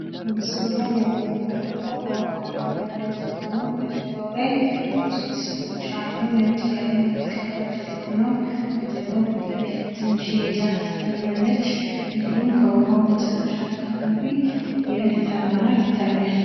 የጉዞ እቅድ አስቀድሞ ሊዘጋጅ ይችላል። ቱሪዝም የመስተንግዶ ኢንዱስትሪን ያካትታል። የስደት ውሳኔ ብዙውን ጊዜ ድንገተኛና አስቸጋሪ ነው።